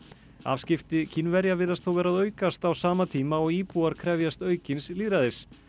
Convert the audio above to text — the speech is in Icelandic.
afskipti Kínverja virðast þó vera að aukast á sama tíma og íbúar krefjast aukins lýðræðis